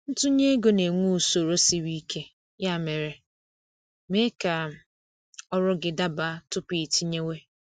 Ntunye ego na-enwe usoro sịrị ike, ya mere, mee ka ọrụ gị daba tupu iitinyewe